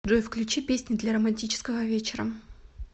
джой включи песни для романтического вечера